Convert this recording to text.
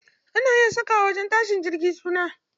Ana iya saka wa wajen tashin jirgi suna.